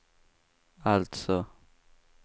alltså